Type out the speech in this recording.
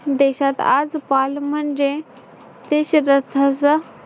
देशात आजकाल म्हणजे